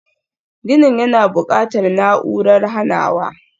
Ginin yana buƙatar na'urar hanawa.